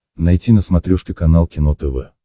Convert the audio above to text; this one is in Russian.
найти на смотрешке канал кино тв